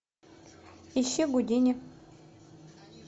ищи гудини